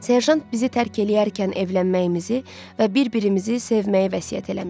Serjant bizi tərk eləyərkən evlənməyimizi və bir-birimizi sevməyi vəsiyyət eləmişdi.